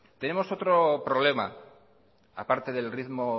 tenemos otro problema a parte del ritmo